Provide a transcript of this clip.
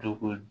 Dɔ ko